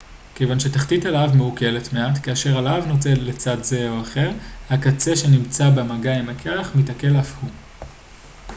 כיוון שתחתית הלהב מעוקלת מעט כאשר הלהב נוטה לצד זה או אחר הקצה שנמצא במגע עם הקרח מתעקל אף הוא